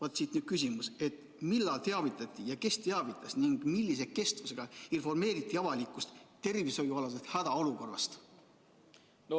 " Siit nüüd küsimus: millal teavitati ja kes teavitas avalikkust tervishoiualasest hädaolukorrast ning kui kaua see kestma peaks?